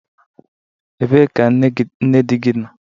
Ebee ka nne di gị nọ?